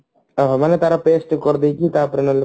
ମାନେ ତାର pest କରିଦେଇକି ତାପରେ ନହେଲେ